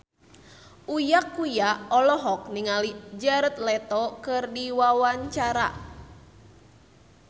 Uya Kuya olohok ningali Jared Leto keur diwawancara